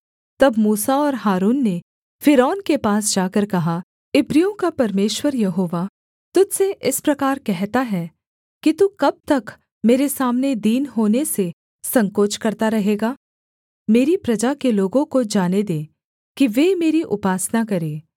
तब मूसा और हारून ने फ़िरौन के पास जाकर कहा इब्रियों का परमेश्वर यहोवा तुझ से इस प्रकार कहता है कि तू कब तक मेरे सामने दीन होने से संकोच करता रहेगा मेरी प्रजा के लोगों को जाने दे कि वे मेरी उपासना करें